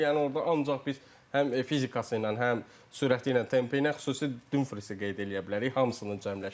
Yəni orda ancaq biz həm fizikası ilə, həm sürəti ilə, tempi ilə xüsusi Dumfrisi qeyd eləyə bilərik hamısının cəmləşdiyi.